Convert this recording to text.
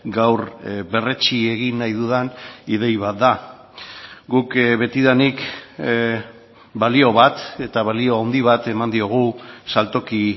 gaur berretsi egin nahi dudan idei bat da guk betidanik balio bat eta balio handi bat eman diogu saltoki